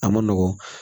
A ma nɔgɔn